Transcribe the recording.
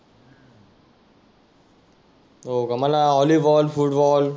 हो का मला वॉलीबॉल, फुटबॉल